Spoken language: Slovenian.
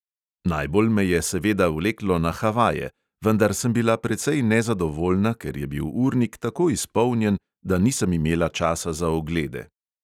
Najbolj me je seveda vleklo na havaje, vendar sem bila precej nezadovoljna, ker je bil urnik tako izpolnjen, da nisem imela časa za oglede.